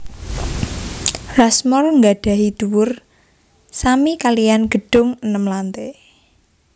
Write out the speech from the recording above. Rushmore gadhahi dhuwur sami kaliyan gedhung enem lante